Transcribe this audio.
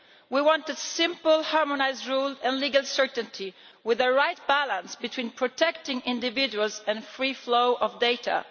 We wanted simple harmonised rules and legal certainty, with the right balance between protecting individuals and the free flow of data.